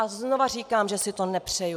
A znova říkám, že si to nepřeju.